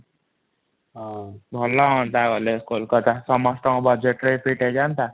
ହଁ ଭଲ ହଅନ୍ତା ଗଲେ କୋଲକତା ସମସ୍ତଙ୍କର budgetରେ ବି fit ହେଇଯାଆନ୍ତା ।